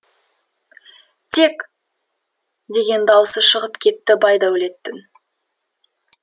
тек деген даусы шығып кетті байдәулеттің